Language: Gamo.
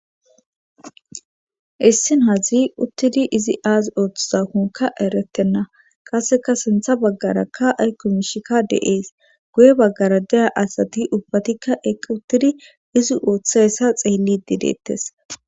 issin hazi uttidi izi aazi ooththizakunka erettenna qaseka sintha baggarakka ay kumishikka deees guye baggara daya asati ubbatikka eqq uttidi izi ooththa essa xeellidi deettes